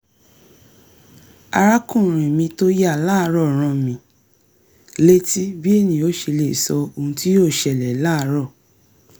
arákùnrin mi tó yà láàárọ̀ rán mi létí bí ènìyàn ò ṣe lè sọ ohun tí yóò ṣẹlẹ̀ láàárọ̀